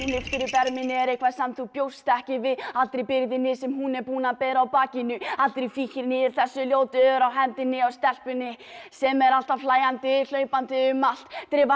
erminni er eitthvað sem þú bjóst ekki við allri byrðinni sem hún er búin að bera á bakinu allri fíkninni þessi ljótu ör á hendinni á stelpunni sem er alltaf hlæjandi hlaupandi um allt